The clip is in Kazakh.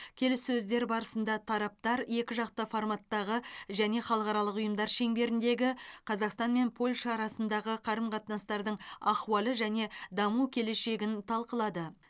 келіссөздер барысында тараптар екіжақты форматтағы және халықаралық ұйымдар шеңберіндегі қазақстан мен польша арасындағы қарым қатынастардың ахуалы және даму келешегін талқылады